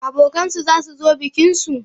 Abokan su zasu zo bikinsu?